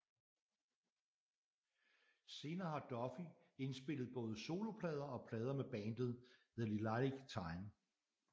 Senere har Duffy indspillet både soloplader og plader med bandet The Lilac Time